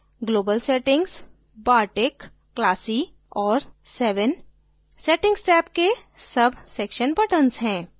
global settings bartik classy और seven settings tab के subsection buttons हैं